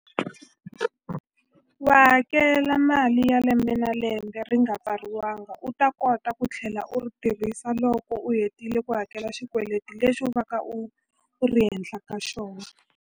Wa hakela mali ya lembe na lembe ri nga pfariwanga u ta kota ku tlhela u ri tirhisa loko u hetile ku hakela xikweleti lexi u va ka u ri henhla ka xona.